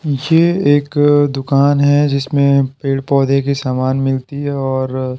ये एक दुकान है जिसमें पेड़-पौधे के सामान मिलते हैं और---